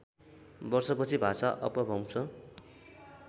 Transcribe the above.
वर्षपछि भाषा अपभ्रंश